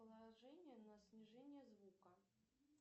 положение на снижение звука